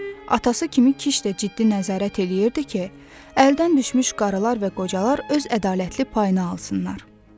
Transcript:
Atası kimi kiç də ciddi nəzarət eləyirdi ki, əldən düşmüş qarlar və qocalar öz ədalətli payını alsınlar.